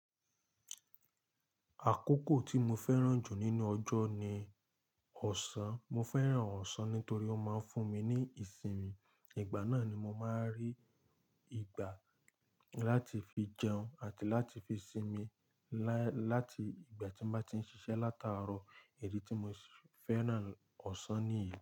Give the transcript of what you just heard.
Àkókò tí mo fẹ́ràn jù nínú ọjọ́ ni ọ̀sán. Mo fẹ́ràn ọ̀sán nítorí ó máa ń fún mi ní ìsinmi. Ìgbà náà ni mo máa n rí ìgbà láti fi jẹun àti láti fi sinmi láti ìgbà tí mo bá ti ń ṣiṣẹ́ látàárọ̀. Idí tí mo si fẹ́ràn ọ̀sán ní yii.